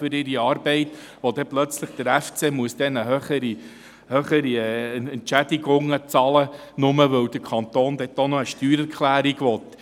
Dann muss der Fussball Club plötzlich höhere Entschädigungen bezahlen, nur weil der Kanton dafür noch eine Steuererklärung will.